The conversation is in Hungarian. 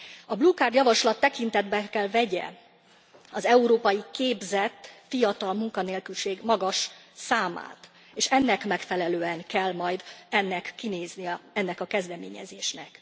A blokádjavaslat tekintetbe kell vegye az európai, képzett, fiatal munkanélküliség magas arányát, és ennek megfelelően kell majd kinéznie ennek a kezdeményezésnek.